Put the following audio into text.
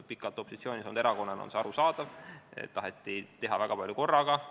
Pikalt opositsioonis olnud erakonna puhul on arusaadav, et tahetakse teha väga palju korraga.